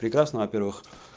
прекрасно во-первых